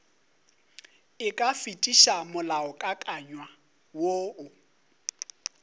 e ka fetiša molaokakanywa woo